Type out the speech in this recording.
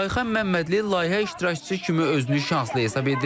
Ayxan Məmmədli layihə iştirakçısı kimi özünü şanslı hesab edir.